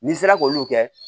N'i sera k'olu kɛ